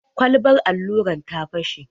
Kwalbar alluran ta fashe.